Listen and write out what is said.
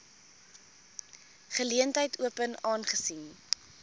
geleentheid open aangesien